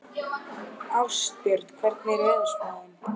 Ástbjörn, hvernig er veðurspáin?